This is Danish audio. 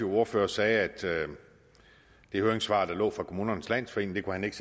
ordfører sagde at det høringssvar der lå fra kommunernes landsforening kunne han ikke